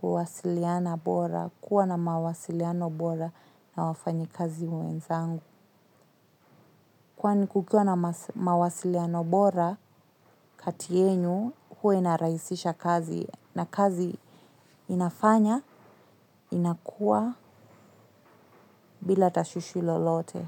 kuwasiliana bora, kuwa na mawasiliano bora na wafanyikazi mwenzangu. Kwani kukiwa na mawasiliano bora, kati yenu huwa inarahisisha kazi na kazi inafanya inakua bila tashwishi lolote.